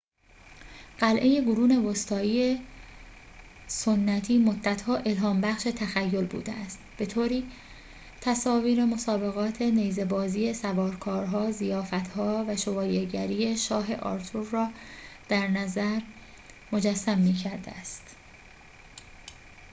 قلعه قرون وسطایی سنتی مدت‌ها الهام‌بخش تخیل بوده است به‌طوری تصاویر مسابقات نیزه‌بازی سوارکارها ضیافت‌ها و شوالیه‌گری شاه آرتور را درنظر مجسم می‌کرده است